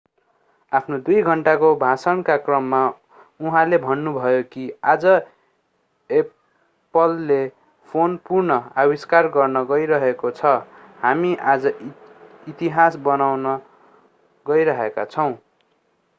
आफ्नो 2 घण्टाको भाषणका क्रममा उहाँले भन्नुभयो कि आज एप्पलले फोन पुनः आविष्कार गर्न गइरहेको छ हामी आज इतिहास बनाउन गइरहेका छौं